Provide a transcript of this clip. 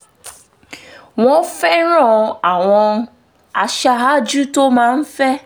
wọ́n fẹ́ràn àwọn aṣáájú tó máa ń fẹ́